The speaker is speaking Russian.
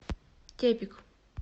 тепик